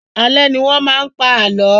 Alẹ́ ní wọn máa ń pa àlọ́